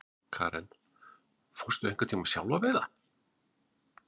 Karen: Fórstu einhvern tímann sjálf að veiða?